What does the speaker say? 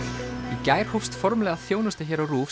í gær hófst formlega þjónusta hér á RÚV